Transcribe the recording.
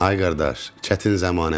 Ay qardaş, çətin zəmanədir.